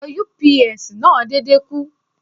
Ẹ̀rọ UPS náà dédé kú.